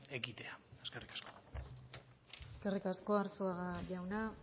ekitea eskerrik asko eskerrik asko arzuaga jauna